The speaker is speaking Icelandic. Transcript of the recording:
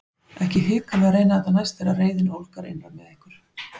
Ekki hika við að reyna þetta næst þegar reiðin ólgar innra með ykkur!